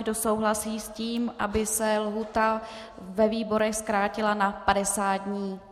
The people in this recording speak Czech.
Kdo souhlasí s tím, aby se lhůta ve výborech zkrátila na 50 dní?